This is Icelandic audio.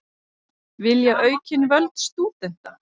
Vilja aukin völd stúdenta